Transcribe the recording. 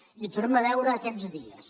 i ho tornem a veure aquests dies